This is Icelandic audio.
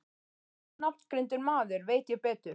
Ónafngreindur maður: Veit ég betur?